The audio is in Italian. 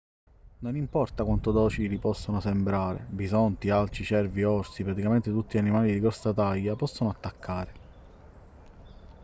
non importa quanto docili possano sembrare bisonti alci cervi orsi praticamente tutti gli animali di grossa taglia possono attaccare